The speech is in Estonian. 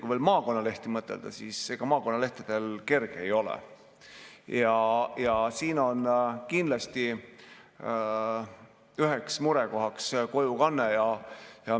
Kui maakonnalehtede peale mõtelda, siis ega neil kerge ole, ja siin on kindlasti üheks murekohaks kojukanne.